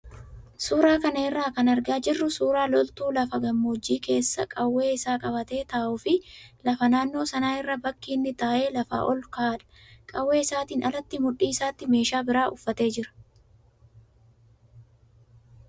Suuraa kana irraa kan argaa jirru suuraa loltuu lafa gammoojjii keessa qawwee isaa qabatee taa'uu fi lafa naannoo sana irraa bakki inni taa'e lafa ol ka'aadha. Qawwee isaatiin alatti mudhii isaatti meeshaa biraa uffatee jira.